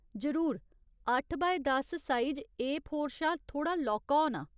जरूर, अट्ठ बाय दस साइज ए फोर शा थोह्ड़ा लौह्का होना।